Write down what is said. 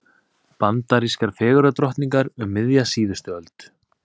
Bandarískar fegurðardrottningar um miðja síðustu öld.